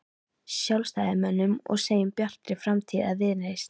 Sjálfstæðismönnum og segjum Bjartri framtíð eða Viðreisn?